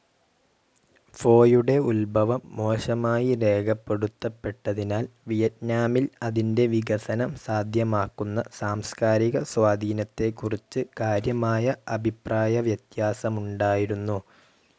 ഫൊയുടെ ഉത്ഭവം മോശമായി രേഖപ്പെടുത്തപ്പെട്ടതിനാൽ, വിയറ്റ്നാമിൽ അതിന്റെ വികസനം സാധ്യമാക്കുന്ന സാംസ്കാരിക സ്വാധീനത്തെക്കുറിച്ച് കാര്യമായ അഭിപ്രായവ്യത്യാസമുണ്ടായിരുന്നു.